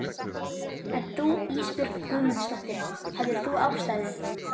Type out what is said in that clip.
En þú Ísbjörg Guðmundsdóttir, hafðir þú ástæðu?